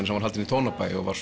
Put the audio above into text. sem var haldin í Tónabæ og var